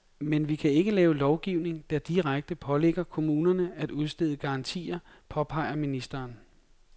Men vi kan ikke lave lovgivning, der direkte pålægger kommunerne at udstede garantier, påpeger ministeren.